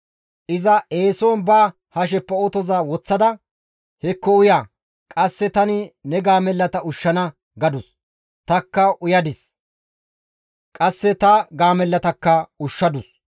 «Iza eeson ba hasheppe otoza woththada, ‹Hekko uya! Qasse tani ne gaamellata ushshana› gadus; tanikka uyadis; qasse ta gaamellatakka ushshadus.